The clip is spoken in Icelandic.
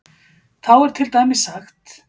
Þá er til dæmis sagt